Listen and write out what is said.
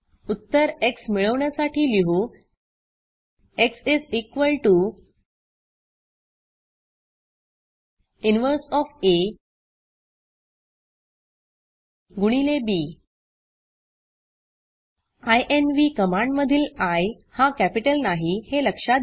उत्तर एक्स मिळवण्यासाठी लिहू एक्स इन्व्ह गुणिले बी इन्व्ह कमांडमधील iहा कॅपिटल नाही हे लक्षात घ्या